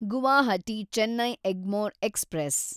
Guwahati Chennai Egmore express